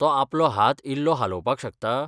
तो आपलो हात इल्लो हालोवपाक शकता?